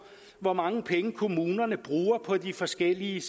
hvor mange penge kommunerne bruger på de forskellige